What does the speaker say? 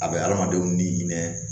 A bɛ adamadenw ni hinɛ